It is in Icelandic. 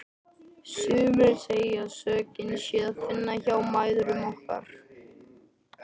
Sumir segja að sökina sé að finna hjá mæðrum okkar.